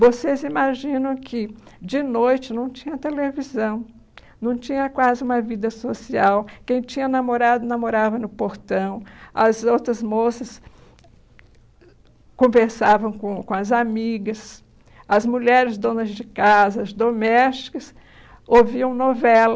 Vocês imaginam que, de noite, não tinha televisão, não tinha quase uma vida social, quem tinha namorado, namorava no portão, as outras moças conversavam com com as amigas, as mulheres donas de casa, as domésticas, ouviam novela.